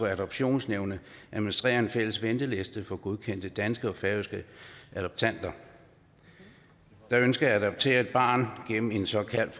adoptionsnævnet at administrere en fælles venteliste for godkendte danske og færøske adoptanter der ønsker at adoptere et barn gennem en såkaldt